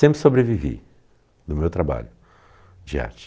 Sempre sobrevivi do meu trabalho de arte.